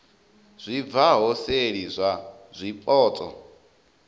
zwi bvaho seli zwa zwipotso